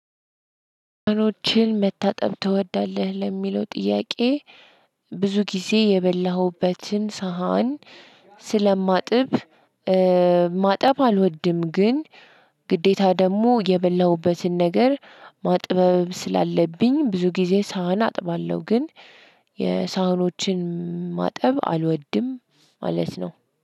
መታጠብ ትወዳለህ? ለሚለው ጥያቄ ብዙ ጊዜ የበላሁበትን ሳህን ስለማጥብ ማጠብ አልወድም። ግን ግዴታ ደግሞ የበላሁበትን ነገር ማጠብ ስላለብኝ ብዙ ጊዜ ሳህን አጥባለሁ። ግን የሳህኖችን ማጠብ አልወድም ማለት ነው።